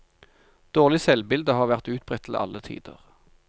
Dårlig selvbilde har vært utbredt til alle tider.